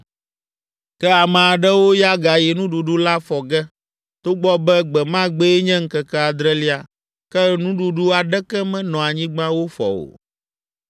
Ke ame aɖewo ya gayi nuɖuɖu la fɔ ge, togbɔ be gbe ma gbee nye ŋkeke adrelia, ke nuɖuɖu aɖeke menɔ anyigba wofɔ o.